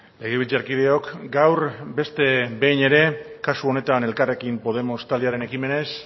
legebiltzarkideok gaur beste behin ere kasu honetan elkarrekin podemos taldearen ekimenez